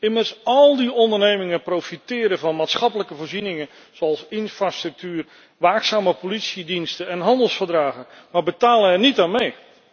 Immers, al die ondernemingen profiteren van maatschappelijke voorzieningen zoals infrastructuur, waakzame politiediensten en handelsverdragen, maar betalen er niet aan mee.